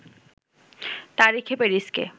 তারিখে প্যারিসকে